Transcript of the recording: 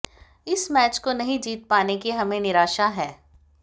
इस मैच को नहीं जीत पाने की हमें निराशा है